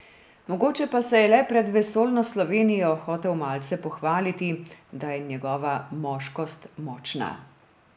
Mogoče pa se je le pred vesoljno Slovenijo hotel malce pohvaliti, da je njegova moškost močna ...